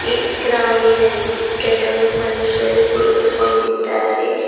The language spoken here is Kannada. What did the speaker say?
ಈ ಗ್ರೌಂಡಿ ನಲ್ಲಿ ಕೆಲವು ಮನುಷ್ಯರು ಕುಳಿತುಕೊಂಡಿದ್ದಾರೆ.